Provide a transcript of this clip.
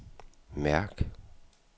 mærk